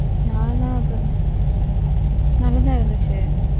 நானா? நல்லாத்தான் இருந்துச்சு.